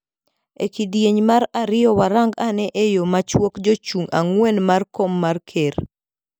Ekidieny mar ariyo warang ane eyo machuok jochung angwen mar kom mar ker.